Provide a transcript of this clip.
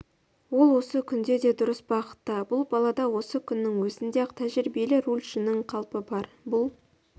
ол осы күнде де дұрыс бағытта бұл балада осы күннің өзінде-ақ тәжірибелі рульшінің қалпы бар бұл